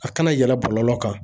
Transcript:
A kana yɛlɛ bɔlɔlɔ kan